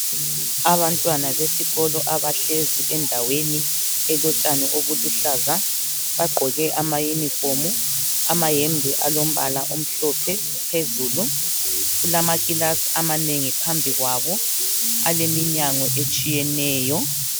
Abantwana besikolo abahlezi endaweni elotshani obuluhlaza bagqoke ama uniform amayembe alombala omhlophe phezulu kulamakilasi amanengi phambi kwabo aleminyango etshiyeneyo.